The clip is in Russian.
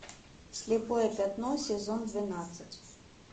слепое пятно сезон двенадцать